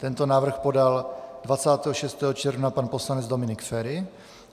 Tento návrh podal 26. června pan poslanec Dominik Feri.